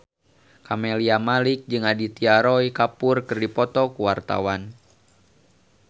Camelia Malik jeung Aditya Roy Kapoor keur dipoto ku wartawan